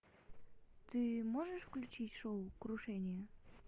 ты можешь включить шоу крушение